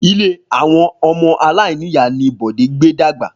Ilé àwon omo aláìníyàá ni Bòdé gbé dàgbà